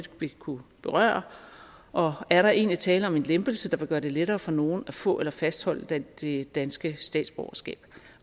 vil kunne berøre og er der egentlig tale om en lempelse der vil gøre det lettere for nogle at få eller fastholde det det danske statsborgerskab